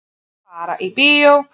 Fara í bíó.